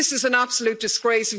This is an absolute disgrace.